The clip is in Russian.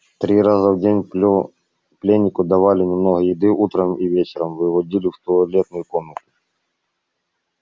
три раза в день пленнику давали немного еды утром и вечером выводили в туалетную комнату